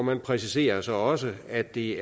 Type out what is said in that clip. man præciserer så også at det